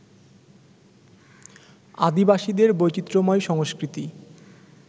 আদিবাসীদের বৈচিত্র্যময় সংস্কৃতি